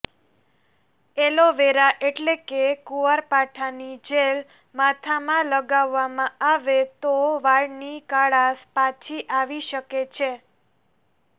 aloe vera એટલે કે કુંવરપાઠાની જેલ માથામાં લગાવવામાં આવે તો વાળની કાળાશ પાછી આવી શકે છે